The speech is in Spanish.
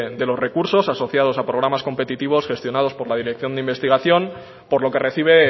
de los recursos asociados a programas competitivos gestionados por la dirección de investigación por lo que recibe